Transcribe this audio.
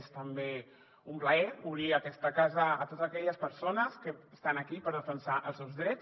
és també un plaer obrir aquesta casa a totes aquelles persones que estan aquí per defensar els seus drets